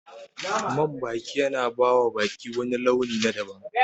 Man baki yana bawa baki wani launi na daban